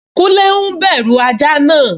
Kúnlé n bẹ̀rù ajá náà